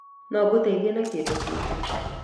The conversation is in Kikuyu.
No ngũteithie na kĩndũ kĩngĩ